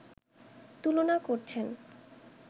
তুলনা করছেন